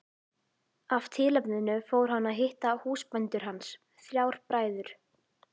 Af tilefninu fór hann að hitta húsbændur hans, þrjá bræður.